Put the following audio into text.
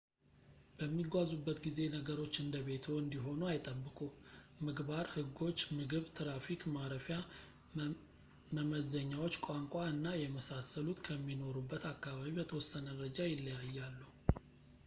በሚጓዙበት ጊዜ ነገሮች እንደ ቤትዎ እንዲሆኑ አይጠብቁ ምግባር ሕጎች ምግብ ትራፊክ ማረፊያ መመዘኛዎች ቋንቋ እና የመሳሰሉት ከሚኖሩበት አካባቢ በተወሰነ ደረጃ ይለያያሉ